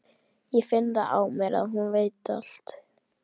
Ég finn það á mér, að hún veit það allt.